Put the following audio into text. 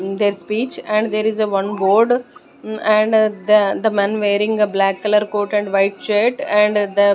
In their speech and there is a one board and the one men wearing the black color coat and white shirt and the --